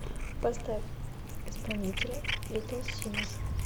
поставь исполнителя литл симз